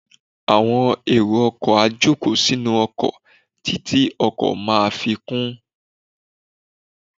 Àwọn èrò ọkọ̀ á jòkó sínú ọkọ̀ títí ọkọ̀ máa fi kún.